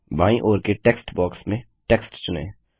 बायीं ओर के टेक्स्ट बॉक्स में टेक्स्ट चुनें